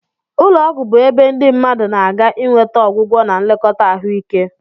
Ụlọ ọgwụ bụ ebe ndị mmadụ na-aga inweta ọgwụgwọ na nlekọta ahụike.